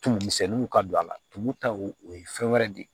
Tumumisɛnninw ka don a la tumu taw o ye fɛn wɛrɛ de ye